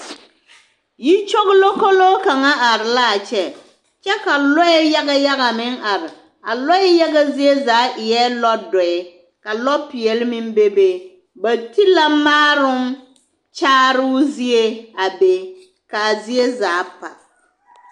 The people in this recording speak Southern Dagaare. Yikyogilokoloo kaŋ araa kyɛ kyɛ ka lɔɛ yaga yaga meŋ are a lɔɛ yaga zeɛ zaa eɛ lɔdɔɛ ka lɔpeɛle meŋ bebe, ba ti la maaroŋ kyaaroo zie a be k'a zie zaa pa.